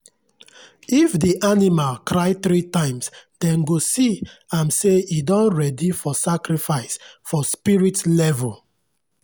if the animal cry three times dem go see am say e don ready for sacrifice for spirit level.